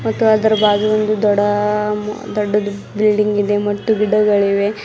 ಮತ್ತು ಅದರ ಬಾಜು ಒಂದು ದೊಡ ದೊಡ್ದುದ್ ಬಿಲ್ಡಿಂಗ್ ಇದೆ ಮತ್ತು ಗಿಡಗಳಿವೆ.